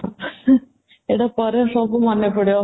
ଏଇଟା ପରେ ସବୁ ମନେ ପଡିବ